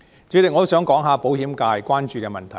主席，我想談談保險界關注的問題。